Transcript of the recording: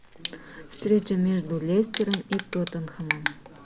встреча между лестером и тоттенхэмом